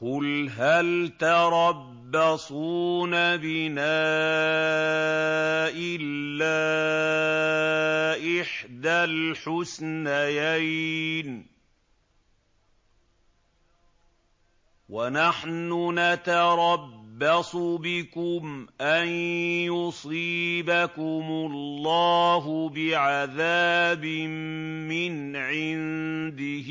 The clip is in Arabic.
قُلْ هَلْ تَرَبَّصُونَ بِنَا إِلَّا إِحْدَى الْحُسْنَيَيْنِ ۖ وَنَحْنُ نَتَرَبَّصُ بِكُمْ أَن يُصِيبَكُمُ اللَّهُ بِعَذَابٍ مِّنْ عِندِهِ